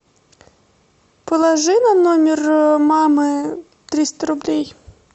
положи на номер мамы триста рублей